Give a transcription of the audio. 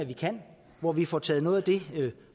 vi kan hvor vi får taget noget af det